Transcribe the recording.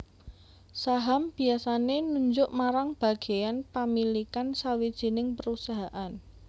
Saham biasaé nunjuk marang bagéyan pamilikan sawijining perusahaan